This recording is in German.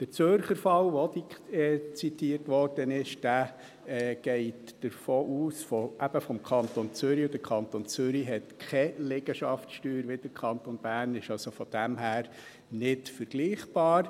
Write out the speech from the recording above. Der Zürcher Fall, der auch zitiert wurde, geht vom Kanton Zürich aus, und der Kanton Zürich kennt keine Liegenschaftssteuer wie der Kanton Bern und ist daher nicht vergleichbar.